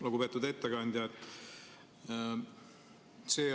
Lugupeetud ettekandja!